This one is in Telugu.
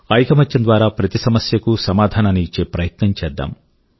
ఐకమత్యం ద్వారా ప్రతి సమస్యకూ సమాధానాన్ని ఇచ్చే ప్రయత్నం చేద్దాం